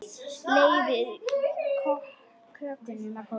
Leyfið kökunum að kólna.